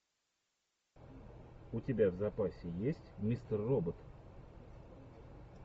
у тебя в запасе есть мистер робот